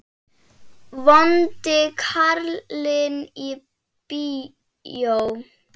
Vondi karlinn í bíó?